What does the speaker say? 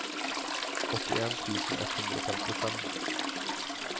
åttien tusen ett hundre og femtifem